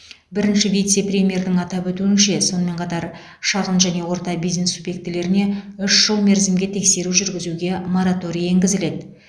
бірінші вице премьердің атап өтуінше сонымен қатар шағын және орта бизнес субъектілеріне үш жыл мерзімге тексеру жүргізуге мораторий енгізіледі